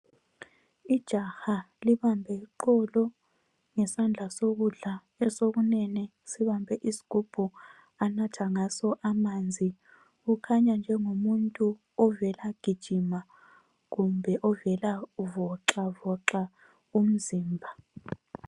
Ijaha libambe iqolo ngesandla sokudla esokunene sibambe isigubhu anatha ngaso amanzi. Ukhanya njengomuntu ovelagijima kumbe ovela voxavoxa umzimba.